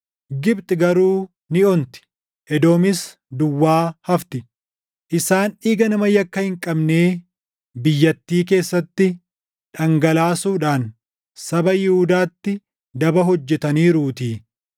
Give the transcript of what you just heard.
Gibxi garuu ni onti; Edoomis duwwaa hafti; isaan dhiiga nama yakka hin qabnee // biyyattii keessatti dhangalaasuudhaan saba Yihuudaatti daba hojjetaniiruutii.